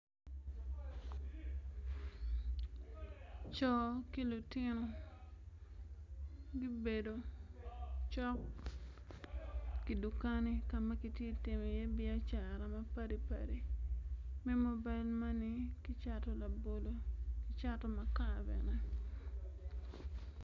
Co ki lutino gibedo cok ki dukani ka ma kiti ka timo iye biacara mapadi padi me mobil mane ki cato labolo ki cato makar bene